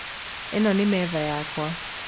Ĩno nĩ metha yakwa